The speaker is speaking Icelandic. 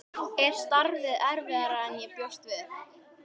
Er starfið erfiðara en ég bjóst við?